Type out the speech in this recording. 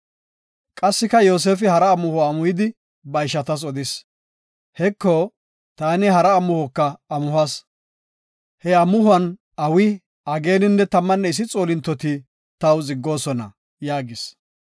Qassika Yoosefi hara amuho amuhidi ba ishatas odis. “Heko, taani hara amuhoka amuhas. He amuhuwan awi, ageeninne tammanne issi xoolintoti taw ziggoosona” yaagis.